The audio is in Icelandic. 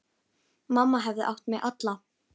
Mamma hafði átt mig alla.